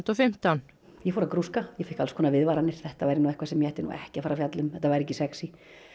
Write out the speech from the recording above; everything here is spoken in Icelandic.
fimmtán ég fór að grúska ég fékk alls konar viðvaranir þetta væri nú eitthvað sem ég ætti ekki að fjalla um þetta væri ekki sexí